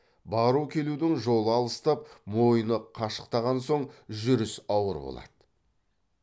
бару келудің жолы алыстап мойны қашықтаған соң жүріс ауыр болады